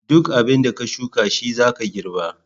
Duk abinda ka shuka shizaka girɓa.